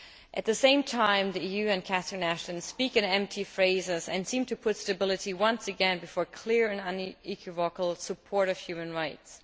At the same time, the EU and Catherine Ashton speak in empty phrases and seem to put stability once again before clear and unequivocal support for human rights.